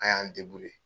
An y'an